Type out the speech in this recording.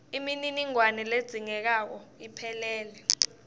imininingwane ledzingekako iphelele